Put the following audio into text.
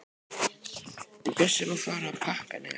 En Bjössi má fara að pakka niður.